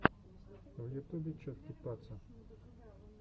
в ютубе чоткий паца